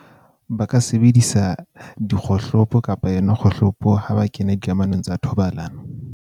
Ba ka sebedisa dikgohlopo kapa yona kgohlopo ha ba kena dikamanong tsa thobalano.